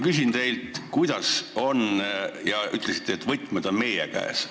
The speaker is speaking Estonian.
Te ütlesite, et võtmed, lahendus, on meie kätes.